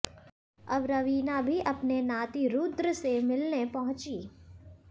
अब रवीना भी अपने नाती रुद्र से मिलने पहुंचीं